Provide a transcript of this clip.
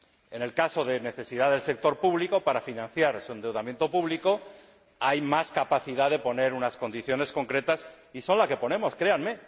En el caso de necesidad del sector público, para financiar su endeudamiento público, hay más capacidad para poner unas condiciones concretas, y son las que ponemos, créanme.